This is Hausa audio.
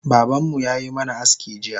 Babanmu yayi mana aski jiya